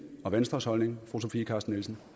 og venstres holdning og fru sofie carsten nielsen